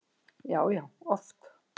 Já, já oft.